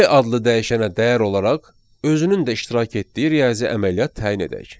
B adlı dəyişənə dəyər olaraq özünün də iştirak etdiyi riyazi əməliyyat təyin edək.